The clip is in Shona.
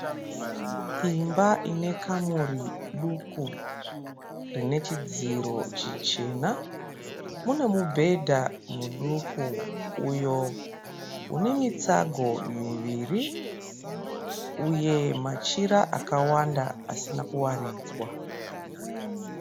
Imba inekamuri duku rinechidziro chichena. Mune mubhedha muduku uyo une mitsago miviri uye machira akawanda asina kuwaridzwa.